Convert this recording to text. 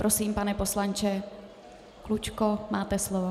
Prosím, pane poslanče Klučko, máte slovo.